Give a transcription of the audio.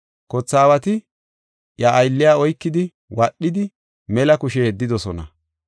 Kothe aawati iya aylliya oykidi wadhidi, mela kushe yeddidosona.